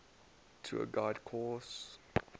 tour guide course